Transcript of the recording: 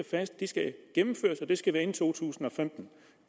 det skal gennemføres og at det skal være inden to tusind og femten